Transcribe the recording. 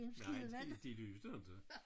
Nej de de lyste inte